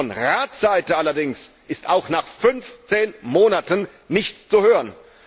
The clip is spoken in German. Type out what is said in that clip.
Von seiten des Rates allerdings ist auch nach fünfzehn Monaten nichts zu hören!